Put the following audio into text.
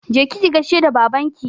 Je ki ki gaishe da babanki!